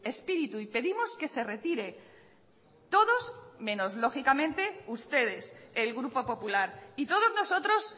espíritu y pedimos que se retire todos menos lógicamente ustedes el grupo popular y todos nosotros